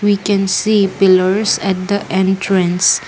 we can see pillars at the entrance.